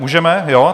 Můžeme, jo?